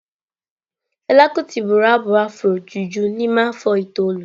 Fela kuti bụrụ abụ afro juju n'ime afọ itoolu.